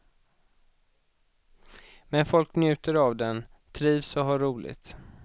Men folk njuter av den, trivs och har roligt.